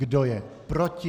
Kdo je proti?